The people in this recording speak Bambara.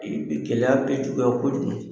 I bi gɛlɛya be juguya kɔ jugu